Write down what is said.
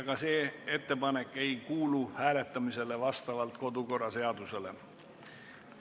Ka see ettepanek vastavalt kodu- ja töökorra seadusele hääletamisele ei kuulu.